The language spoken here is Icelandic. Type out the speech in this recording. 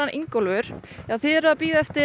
Ingólfur þið eruð að bíða eftir